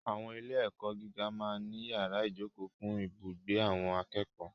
Àwọn ilé-ẹ̀kọ́ gíga máa ń ní yàrá ìjókòó fún ibùgbé àwọn akẹ́kọ̀ọ́.